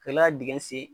Ka kila ka dingɛ sen